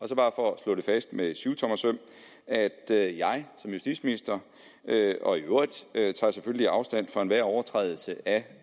så bare for at slå det fast med syvtommersøm jeg jeg som justitsminister og i øvrigt tager selvfølgelig afstand fra enhver overtrædelse af